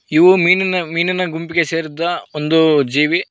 ಇವು ಮೀನಿನ ಮೀನಿನ ಗುಂಪಿಗೆ ಸೇರಿದ ಒಂದು ಜೀವಿ.